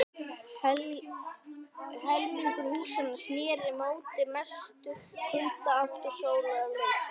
Helmingur húsanna sneri móti mestu kuldaátt og sólarleysi.